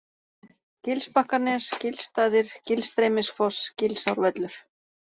Gilsbakkanes, Gilstaðir, Gilstreymisfoss, Gilsárvöllur